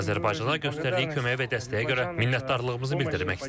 Azərbaycana göstərdiyi köməyə və dəstəyə görə minnətdarlığımızı bildirmək istərdik.